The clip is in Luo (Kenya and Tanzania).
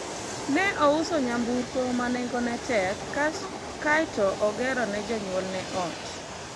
ne ouso nyamburko ma nengone tek kaeto ogero ni jonyuolne ot